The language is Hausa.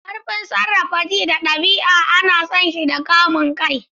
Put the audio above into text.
Ƙarfin sarrafa ji da ɗabi'a an san shi da kamun kai.